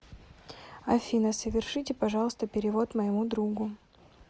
афина совершите пожалуйста перевод моему другу